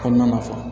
Kɔnɔna na sa